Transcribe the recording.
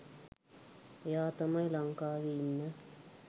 එයා තමයි ලංකාවෙ ඉන්න